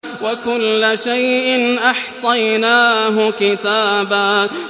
وَكُلَّ شَيْءٍ أَحْصَيْنَاهُ كِتَابًا